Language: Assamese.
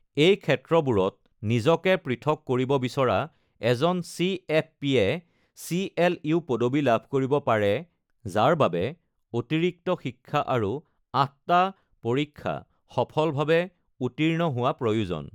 এই ক্ষেত্ৰবোৰত নিজকে পৃথক কৰিব বিচৰা এজন চি.এফ.পি.-য়ে চি.এল.ইউ. পদবী লাভ কৰিব, যাৰ বাবে অতিৰিক্ত শিক্ষা আৰু আঠটা পৰীক্ষা সফলভাৱে উত্তীৰ্ণ হোৱাৰ প্ৰয়োজন।